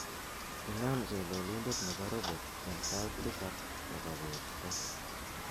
inam chololindet nebo robot en sait tisab nebo beet raa